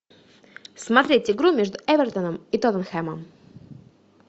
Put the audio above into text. смотреть игру между эвертоном и тоттенхэмом